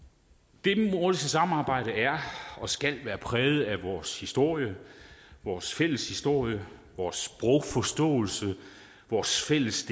det nordiske samarbejde er og skal være præget af vores historie vores fælles historie vores sprogforståelse vores fælles